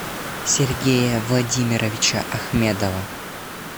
сергея владимировича ахмедова